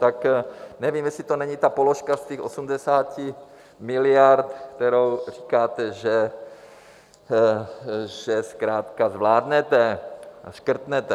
Tak nevím, jestli to není ta položka z těch 80 miliard, kterou říkáte, že zkrátka zvládnete a škrtnete.